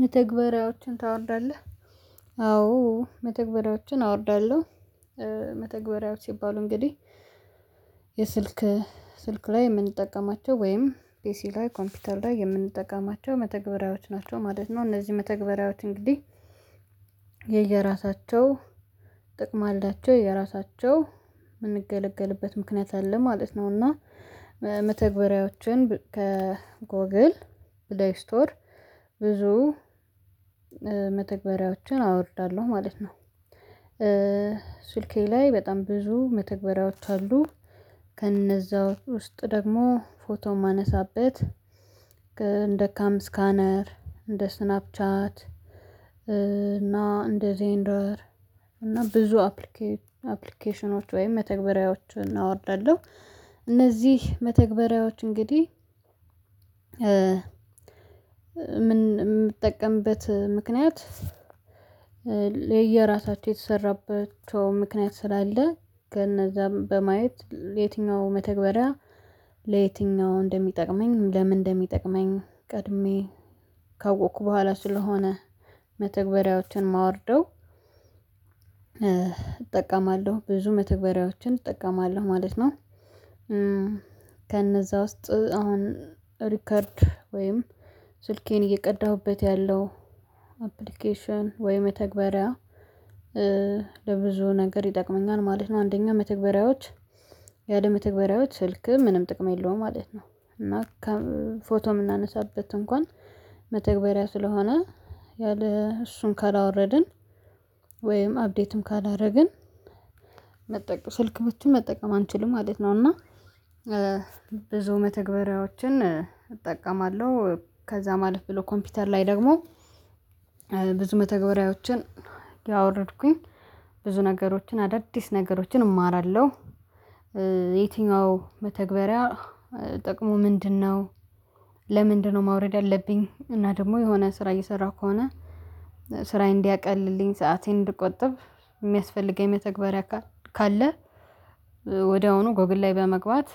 መተግበሪያዎችን ታወርዳለህ አዎ መተግበሪያዎችን አወርዳለሁ። መተግበሪያዎች ሲባሉ እንግዲህ የስልክ ስልክ ላይ የምንጠቀማቸው ወይም ፔሲ ላይ ኮምፒውተር ላይ የምንጠቀማቸው መተግበሪያዎች ናቸው ማለት ነው። እነዚህ መተግበሪያዎች እንግዲህ የየራሳቸው ጥቅም አላቸው የየራሳቸው የምንገለገልበት ምክንያት አለ ማለት ነው። እና መተግበሪያዎችን ከጎግል ፕላይ ስቶር ብዙ መተግበሪያዎችን አወርዳለሁ ማለት ነው። ስልኬ ላይ በጣም ብዙ መተግበሪያዎች አሉ። ከነዛው ውስጥ ደግሞ ፎቶ የማነሳበት እንደ ካም ስካነር እንደ ስናፕ ቻት እና እንደዜንደር እና ብዙ አፕሊኬሽኖች ወይም መተግበሪያዎችን አወርዳለሁ። እነዚህ መተግበሪያዎች እንግዲህ የምጠቀምበት ምክንያት ለየራሳቸው የተሰራበት ምክንያት ስላለ ከነዛም በማየት የትኛው መተግበሪያ ለየትኛው እንደሚጠቅመኝ ለምን እንደሚጠቅመኝ ቀድሜ ካወቅኩ በኋላ ስለሆነ መተግበሪያዎችን እማውርደው እጠቀማለሁ ብዙ መተግበሪያዎችን እጠቀማለሁ ማለት ነው። ከነዛ ውስጥ አሁን ሪከርድ ወይም ስልኬን እየቀዳሁበት ያለው አፕሊኬሽን ወይ መተግበሪያ ለብዙ ነገር ይጠቅመኛል ማለት ነው። አንደኛ መተግበሪያዎች ያለ መተግበሪያዎች ስልክ ምንም ጥቅም የለውም ማለት ነው። እና ፎቶ የምናነሳበት እንኳን መተግበሪያ ስለሆነ ያለ እሱን ካላወረድን ወይም አፕዴትም ካላደረግን መጠቀም ስልክችን መጠቀም አንችልም ማለት ነው። እና ብዙ መተግበሪያዎችን እጠቀማለሁ ከዛም አለፍ ብሎ ኮምፒውተር ላይ ደግሞ ብዙ መተግበሪያዎችን እያወረድኩኝ ብዙ ነገሮችን አዳዲስ ነገሮችን እማራለሁ። የትኛው በተግባሪያ ጥቅሙ ምንድነው? ለምንድነው ማውረድ ያለብኝ እና ደግሞ የሆነ ስራ እየሰራሁ ከሆነ ስራዬ እንዲያቀልልኝ ሰአቴን እንድቆጥብ የሚያስፈልገኝ መተግበሪያ ካለ ወዲያውኑ ጎግል ላይ በመግባት